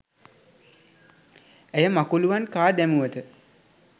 ඇය මකුලූවන් කා දැමුවත